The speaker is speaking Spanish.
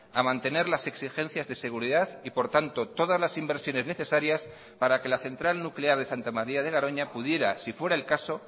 a mantener las exigencias de seguridad y por tanto todas las inversiones necesarias para que la central nuclear de santa maría de garoña pudiera si fuera el caso